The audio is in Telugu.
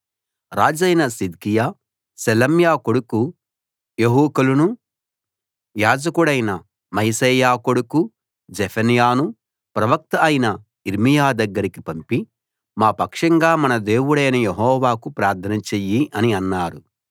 రాజైన సిద్కియా షెలెమ్యా కొడుకు యెహుకలునూ యాజకుడైన మయశేయా కొడుకు జెఫన్యానూ ప్రవక్త అయిన యిర్మీయా దగ్గరికి పంపి మా పక్షంగా మన దేవుడైన యెహోవాకు ప్రార్థన చెయ్యి అని అన్నారు